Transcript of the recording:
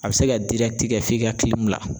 A bɛ se ka kɛ f'i ka la.